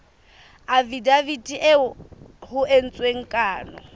afidaviti eo ho entsweng kano